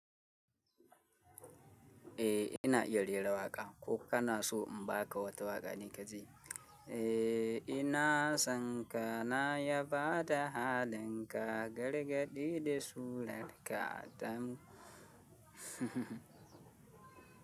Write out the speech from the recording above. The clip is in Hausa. Eh ina raira waka ko kana so in ba ka wata waƙa nika ji? Eh ina san ka na ya bada halinka gargadi da surar ka dan.